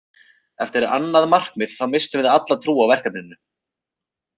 Eftir annað markið þá misstum við alla trú á verkefninu.